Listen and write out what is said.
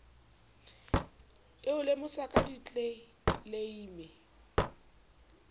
e o lemosa ka ditleleime